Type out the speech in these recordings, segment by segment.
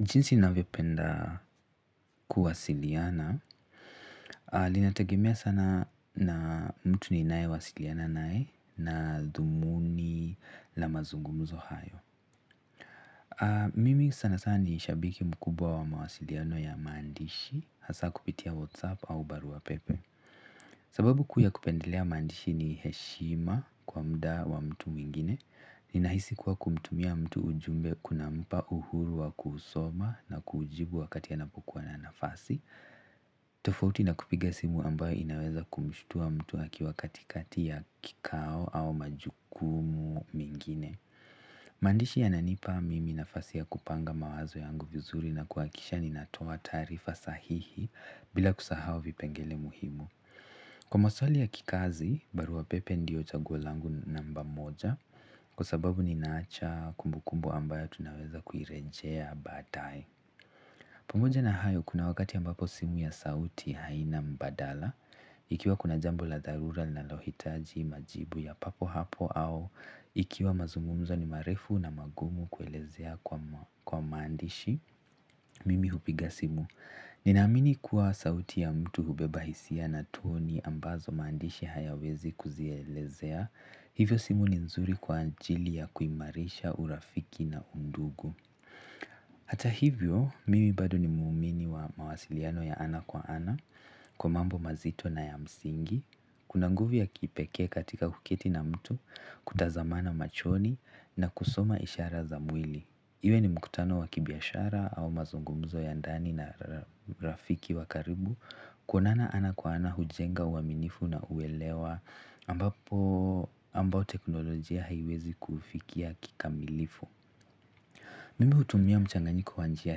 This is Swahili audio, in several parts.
Jinsi navyo penda kuwasiliana, ninategemea sana na mtu ninae wasiliana nae na dhumuni la mazungumzo hayo. Mimi sana sana ni shabiki mkubwa wa mawasiliano ya maandishi, hasa kupitia whatsapp au barua pepe. Sababu kuu ya kupendelea mandishi ni heshima kwa muda wa mtu mwingine, ni nahisi kuwa kumtumia mtu ujumbe kuna mpa uhuru wa kusoma na kujibu wakati anapokua na nafasi, tofauti na kupiga simu ambayo inaweza kumshutua mtu akiwa kati kati ya kikao au majukumu mengine. Maandishi ya nanipa mimi nafasi ya kupanga mawazo yangu vizuri na kuhakisha ni natoa taarifa sahihi bila kusahau vipengele muhimu. Kwa maswali ya kikazi, barua pepe ndio chaguo langu namba moja, kwa sababu ni naacha kumbukumbu ambayo tunaweza kuirejea baadae. Pamoja na hayo, kuna wakati ambapo simu ya sauti haina mbadala, ikiwa kuna jambo la dharura linalo hitaji majibu ya papo hapo au ikiwa mazungumzo ni marefu na magumu kuelezea kwa maandishi, mimi hupiga simu. Nina amini kuwa sauti ya mtu hubeba hisia na toni ambazo maandishi hayawezi kuzielezea hivyo simu ni nzuri kwa ajili ya kuimarisha urafiki na undugu hata hivyo, mimi bado ni muumini wa mawasiliano ya ana kwa ana, kwa mambo mazito na ya msingi kuna nguvu ya kipekee katika kuketi na mtu kutazamana machoni na kusoma ishara za mwili, iwe ni mkutano wakibiashara au mazungumzo ya ndani na rafiki wa karibu. Kuonana ana kwa ana hujenga uaminifu na uelewa ambapo ambao teknolojia haiwezi kufikia kikamilifu mimi hutumia mchanganyiko wa njia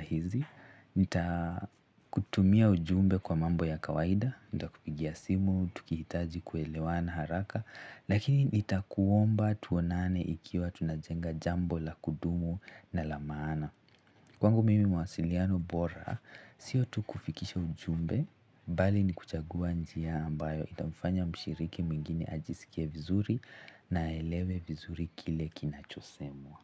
hizi nita kutumia ujumbe kwa mambo ya kawaida, nita kupigia simu, tukihitaji kuelewana haraka, lakini nitakuomba tuonane ikiwa tunajenga jambo la kudumu na la maana kwangu mimi mawasiliano bora, sio tu kufikisha ujumbe, bali ni kuchagua njia ambayo itamfanya mshiriki mwingine ajisikie vizuri na elewe vizuri kile kinachosemwa.